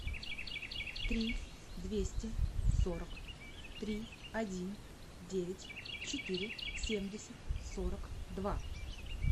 три двести сорок три один девять четыре семьдесят сорок два